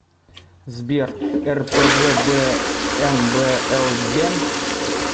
сбер рпвбмблбен